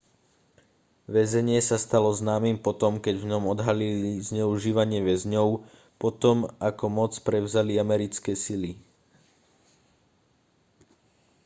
väzenie sa stalo známym po tom keď v ňom odhalili zneužívanie väzňov po tom ako moc prevzali americké sily